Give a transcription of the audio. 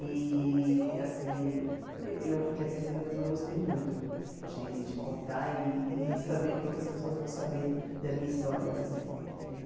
E, assim, eu fiquei apreensiva, mas eu gostei muito de de contar e de saber que outras pessoas vão saber da minha história também, entendeu?